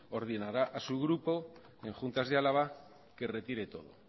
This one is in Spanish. ordenara a su grupo en juntas de álava que retire todo